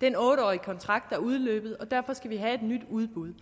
den otte årige kontrakt er udløbet og derfor skal vi have et nyt udbud